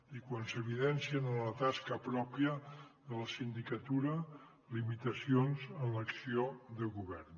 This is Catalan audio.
i quan s’evidencien en la tasca pròpia de la sindicatura limitacions en l’acció de govern